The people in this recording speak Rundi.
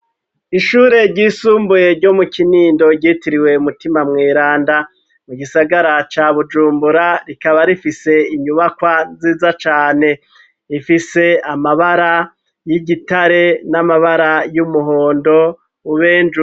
Ishure ryisumbuye ryo mu kinindo ryitiriwe umutima mweranda mu gisagara ca bujumbura rikaba rifise inyubakwa nziza cane ifise amabara y'igitare n'amabara y'umuhondo ubenjuwe.